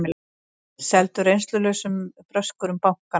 Seldu reynslulausum bröskurum bankana